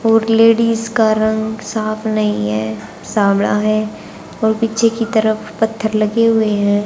और लेडीज का रंग साफ नहीं है समड़ा है और पीछे की तरफ पत्थर लगे हुए हैं।